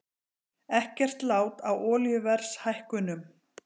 Ekkert lát á olíuverðshækkunum